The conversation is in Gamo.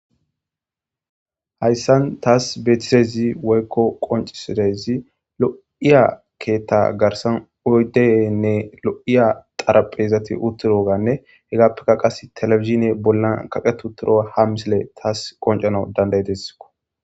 hayssan taas beetisezi woykko qoncisirezi lo'iya keetta garsan oydeyenne lo'iya xaraphezati utturo ganne hegappekka qas telefizine bollan kaqetu toro ha misile taas qoncanw dandayidessiko